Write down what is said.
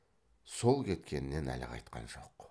сол кеткеннен әлі қайтқан жоқ